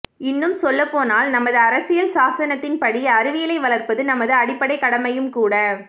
இன்னும் சொல்லப்போனால் நமது அரசியல் சாசனத்தின்படி அறிவியலை வளர்ப்பது நமது அடிப்படைக் கடமையும்கூட